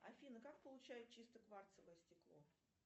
афина как получают чистое кварцевое стекло